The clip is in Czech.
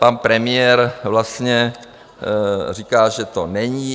Pan premiér vlastně říká, že to není...